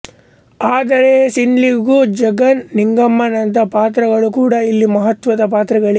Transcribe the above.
ಆದರೆ ಸಿದ್ಲಿಂಗು ಜಗನ್ ನಿಂಗಮ್ಮನಂಥ ಪಾತ್ರಗಳು ಕೂಡ ಇಲ್ಲಿ ಮಹತ್ವದ ಪಾತ್ರಗಳೆ